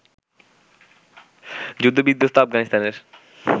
যুদ্ধ-বিধ্বস্ত আফগানিস্তানের